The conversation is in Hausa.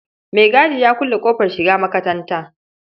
Maigadi ya kulle ƙofar shiga makatanta.